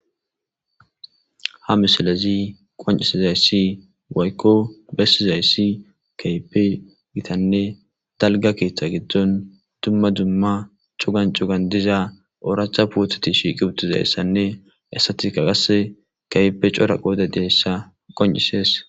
ha misilezi qoncisizayssi woykko bessizayssi kaype gitanne dalga keeththa giddon dumma dumma cugan cugan diza ooraacha pootati shiiqi uttizayssanne assatika qasse kaype cora qoode deyssa qoncisees